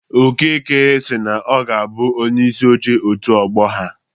Okeke si na ọ ga-abụ Onyeisi Oche òtù Ọgbọ ahụ.